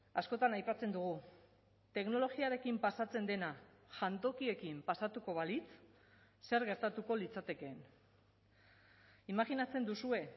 askotan aipatzen dugu teknologiarekin pasatzen dena jantokiekin pasatuko balitz zer gertatuko litzatekeen imajinatzen duzue